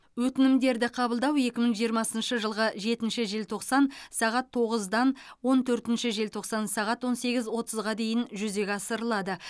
өтінімдерді қабылдау екі мың жиырмасыншы жылғы жетінші желтоқсан сағат тоғыздан он төртінші желтоқсан сағат он сегіз отызға дейін жүзеге асырылады